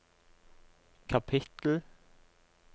kapittel